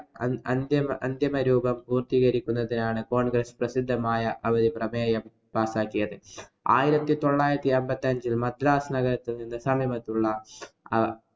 അതി~ അന്തിമരൂപം പൂര്‍ത്തികരിക്കുന്നതിനാണ് congress പ്രസിദ്ധമായ ആ ഒരു പ്രമേയം pass ആക്കിയത്. ആയിരത്തി തൊള്ളായിരത്തി അമ്പത്തിയഞ്ചില്‍ മദ്രാസ് നഗരത്തില്‍ അടുത്തുള്ള